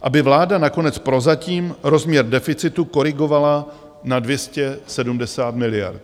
Aby vláda nakonec prozatím rozměr deficitu korigovala na 270 miliard.